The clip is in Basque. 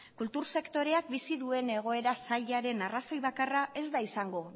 kultur sektoreak bizi duen egoera zailaren arrazoi bakarra ez da izango